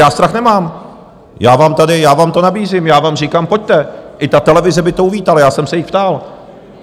Já strach nemám, já vám to nabízím, já vám říkám: pojďte, i ta televize by to uvítala, já jsem se jich ptal.